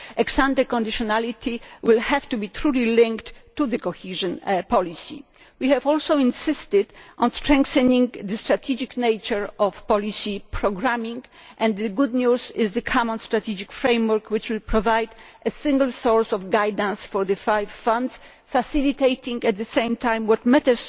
Ex ante conditionality will have to be truly linked to cohesion policy. We also insisted on strengthening the strategic nature of policy programming, and the good news is the common strategic framework, which will provide a single source of guidance for the five funds, facilitating at the same time